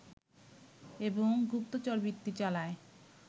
এবং গুপ্তচরবৃত্তি চালায়